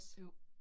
Jo